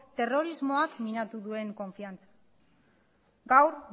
terrorismoak minatu duen konfiantza gaur